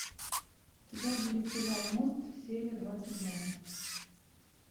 у тебя будет сериал мост серия двадцать два